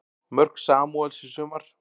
Mörk Samúels í sumar